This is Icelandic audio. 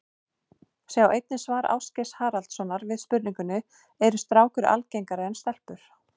Sjá einnig svar Ásgeirs Haraldssonar við spurningunni Eru strákar algengari en stelpur?